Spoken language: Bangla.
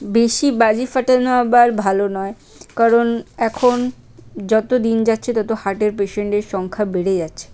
বেশি বাজি ফাটানো আবার ভালো নয় কারণ এখন যত দিন যাচ্ছে তত হার্টের পেশেন্ট এর সংখ্যা বেড়ে যাচ্ছে।